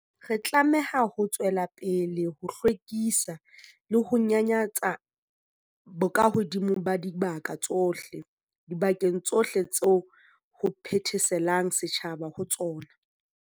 Re tlameha ho tswela pele ho hlwekisa le ho nyanyatsa bokahodimo ba dibaka tsohle, dibakeng tsohle tseo ho phetheselang setjhaba ho tsona.